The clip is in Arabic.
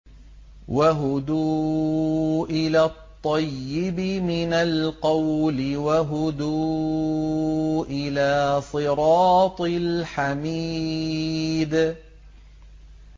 وَهُدُوا إِلَى الطَّيِّبِ مِنَ الْقَوْلِ وَهُدُوا إِلَىٰ صِرَاطِ الْحَمِيدِ